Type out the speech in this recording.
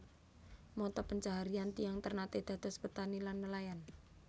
Mata pencaharian tiyang Ternate dados petani lan nelayan